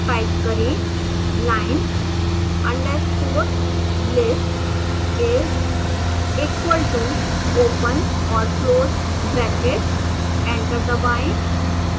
type करें line underscore list is equal to open और close square brackets